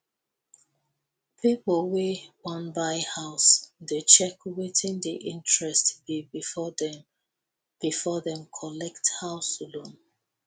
people wey wan buy house dey check wetin di interest be befor dem befor dem collect house loan